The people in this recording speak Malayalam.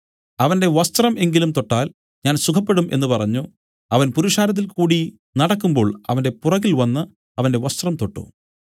അവന്റെ വസ്ത്രം എങ്കിലും തൊട്ടാൽ ഞാൻ സുഖപ്പെടും എന്നു പറഞ്ഞു അവൻ പുരുഷാരത്തിൽകൂടി നടക്കുമ്പോൾ അവന്റെ പുറകിൽ വന്നു അവന്റെ വസ്ത്രം തൊട്ടു